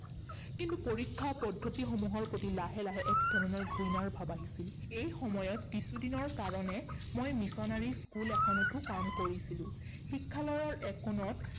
কিন্তু পৰীক্ষা পদ্ধতিসমূহৰ প্ৰতি লাহে লাহে এক ধৰণৰ ঘৃণাৰ ভাৱ আহিছিল। এই সময়ত কিছুদিনৰ কাৰণে মই মিশনাৰী school এখনতো কৰিছিলো। শিক্ষালয়ৰ একোণত